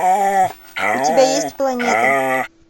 у тебя есть планеты